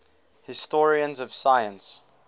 historians of science